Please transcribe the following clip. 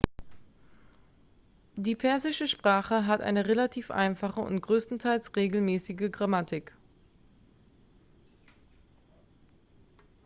die persische sprache hat eine relativ einfache und größtenteils regelmäßige grammatik